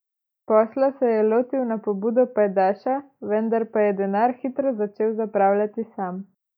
Posla se je lotil na pobudo pajdaša, vendar pa je denar hitro začel zapravljati sam.